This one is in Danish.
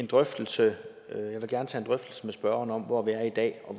en drøftelse med spørgeren om hvor vi er i dag og